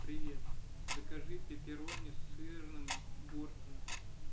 привет закажи пеперони с сырным бортом